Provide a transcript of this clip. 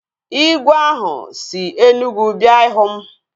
Igwe ahụ si Enugwu bịa ịhụ m